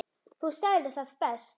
Þú sagðir það best.